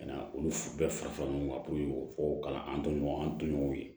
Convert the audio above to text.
Ka na olu bɛɛ fara ɲɔgɔn kan puruke o kalan an to ɲɔgɔn an toɲɔgɔnw ye